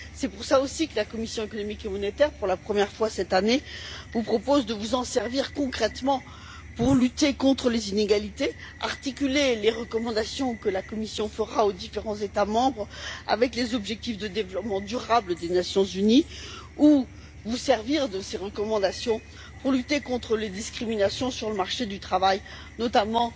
C'est pour cela aussi que la commission des affaires économiques et monétaires, pour la première fois cette année, vous propose de vous en servir concrètement pour lutter contre les inégalités, articuler les recommandations que la Commission fera aux différents États membres, avec les objectifs de développement durable des Nations unies, ou vous servir de ces recommandations pour lutter contre les discriminations sur le marché du travail, notamment